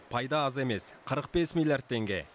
пайда аз емес қырық бес миллиард теңге